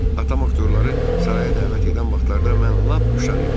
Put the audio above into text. Atam aktyorları saraya dəvət edən vaxtlarda mən lap uşaq idim.